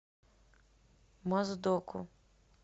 моздоку